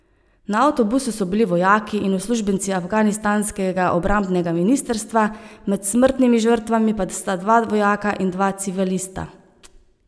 Na avtobusu so bili vojaki in uslužbenci afganistanskega obrambnega ministrstva, med smrtnimi žrtvami pa sta dva vojaka in dva civilista.